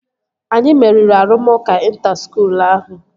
Anyi meriri arụmụka ịnta skuul ahụ